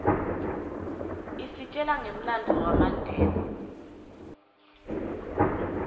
isitjela ngemlandvo wamandela